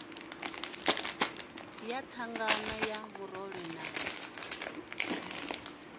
ya thangana ya murole na